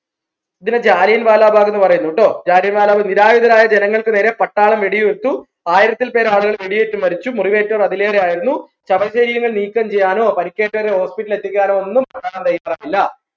ഇതിനെ ജാലിയൻ വല ബാഗ്ന്ന് പറയുന്നു ട്ടോ ജാലിയൻ വാല നിരായുധരായ ജനങ്ങൾക്ക് നേരെ പട്ടാളം വെടി വിട്ടു ആയിരത്തിൽ പേര് ആൾകൾ വെടിയേറ്റ് മരിച്ചു മുറിവേറ്റവർ അതിലേറെ ശവശരീരം നീക്കം ചെയ്യാനോ പരിക്കേറ്റവരെ hospital ൽ എത്തിക്കാനോ ഒന്നും ഇല്ലാ